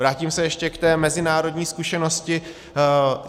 Vrátím se ještě k té mezinárodní zkušenosti.